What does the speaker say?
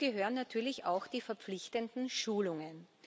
Dazu gehören natürlich auch die verpflichtenden Schulungen.